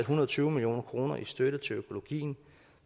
hundrede og tyve million kroner til støtte til økologi